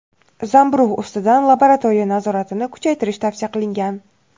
zamburug‘ ustidan laboratoriya nazoratini kuchaytirish tavsiya qilingan.